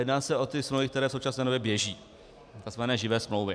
Jedná se o ty smlouvy, které v současné době běží, tzv. živé smlouvy.